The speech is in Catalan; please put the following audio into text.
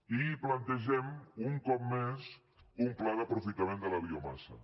i plantegem un cop més un pla d’aprofitament de la biomassa